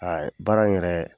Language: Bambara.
Baara in yɛrɛ,